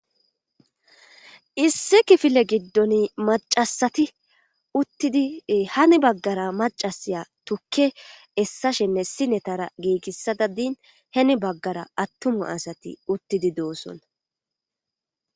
Issi kifile giddon macasati uttidi hani baggara macasiya tukke essa shenne sinetara giigissada din heni baggara attumu asati uttidi doossonna